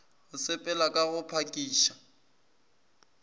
go sepela ka go phakiša